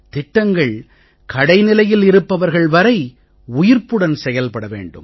திட்டங்கள் கடைநிலையில் இருப்பவர்கள் வரை உயிர்ப்புடன் செயல்பட வேண்டும்